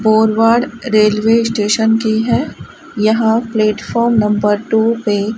Borawar railway station की है यहां प्लेटफॉर्म नंबर टू पे--